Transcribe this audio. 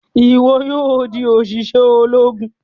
Ìwo yóò dì oṣiṣẹ Ológùn!